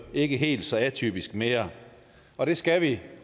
ikke helt så atypisk mere og det skal vi